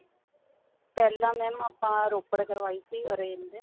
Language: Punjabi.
ਪਹਿਲਾਂ mam ਆਪਾਂ ਰੋਪੜ ਕਰਵਾਈ ਸੀਗੀ orange ਤੇ